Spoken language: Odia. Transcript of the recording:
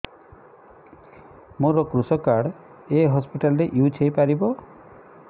ମୋର କୃଷକ କାର୍ଡ ଏ ହସପିଟାଲ ରେ ୟୁଜ଼ ହୋଇପାରିବ